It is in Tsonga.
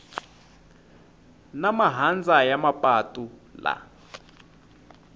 na mahandza ya mapatu laha